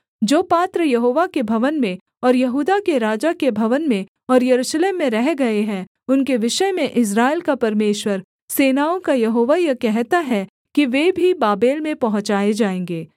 जो पात्र यहोवा के भवन में और यहूदा के राजा के भवन में और यरूशलेम में रह गए हैं उनके विषय में इस्राएल का परमेश्वर सेनाओं का यहोवा यह कहता है कि वे भी बाबेल में पहुँचाए जाएँगे